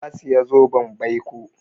Ya saya zoben baiko.